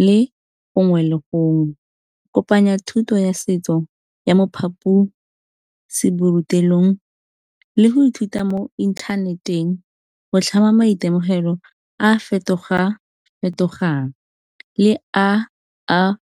le gongwe le gongwe. Kopanya thuto ya setso ya mo phaposiburutelong le go ithuta mo inthaneteng, go tlhama maitemogelo a fetoga-fetogang le a a .